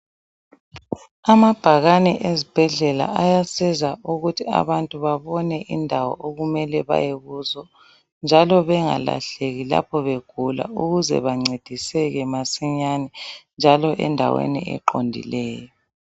Amabhakane ezibhedlela ayasiza ukuthi abantu babone indawo okumele baye kuzo njalo bangalahleki lapho begula ukuze bancediseke masinyane njalo endaweni eqondileyo.